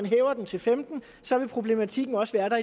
hæver den til femten år så vil problematikken også være der